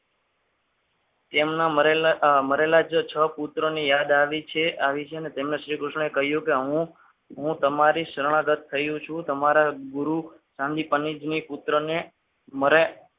તેમના મરેલા જ છ પુત્રોની યાદ આવી છે અને તેમને શ્રીકૃષ્ણએ કહ્યું કે હું તમારી શરણાગત થયો છું તમારા ગુરુ ચાંદી પંનીત ના પુત્રને મળે.